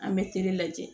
An bɛ lajɛ